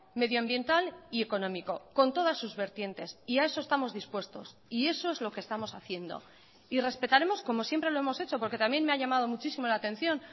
medioambiental y económico con todas sus vertientes y a eso estamos dispuestos y eso es lo que estamos haciendo y respetaremos como siempre lo hemos hecho porque también me ha llamado muchísimo la atención